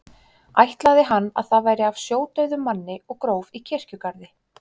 Ætlaði hann að það væri af sjódauðum manni og gróf í kirkjugarði.